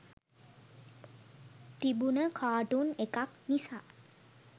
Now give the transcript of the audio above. තිබුන කාටුන් එකක් නිසා